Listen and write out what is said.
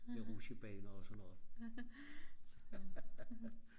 med rutjebaner og sådan noget